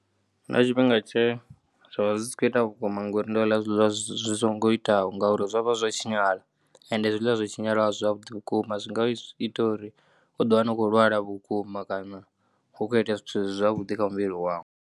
Hu na tshifhinga tshe zwa vha zwi si khou ita vhukuma ngori ndo ḽa zwiḽiwa zwi songo itaho ngauri zwo vha zwa tshinyala ende zwiḽiwa zwo tshinyalaho a si zwavhuḓi vhukuma. Zwi nga ita uri u ḓiwana u khou lwala vhukuma kana hu kho itea zwithu zwi si zwavhuḓi kha muvhili wau.